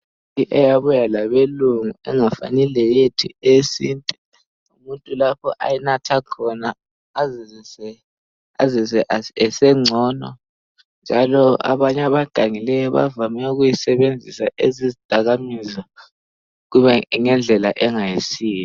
Eyabuya labeLungu engafani leyethu eyesintu. Umuntu lapha ayinatha khona ezizwe esengcono. Njalo abanye abagangileyo, bayisebenzisa njengezidakamizwa, ngendlela ezingayisizo.